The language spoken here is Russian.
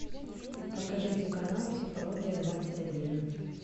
покажите канал психология двадцать один